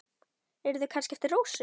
Eru þau kannski eftir Rósu?